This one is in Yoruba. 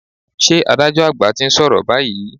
Ṣé adájọ́ àgbà ti ń sọ̀rọ̀ báyìí?